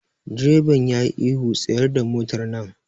Direban yayi ihu 'Tsayar da motar nan'!